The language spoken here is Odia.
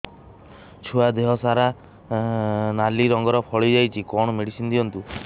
ଛୁଆ ଦେହ ସାରା ନାଲି ରଙ୍ଗର ଫଳି ଯାଇଛି କଣ ମେଡିସିନ ଦିଅନ୍ତୁ